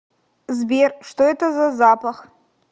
сбер что это за запах